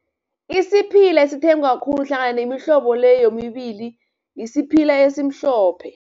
Isiphila esithengwa khulu hlangana nemihlobo le yomibili, sphila esimhlophe.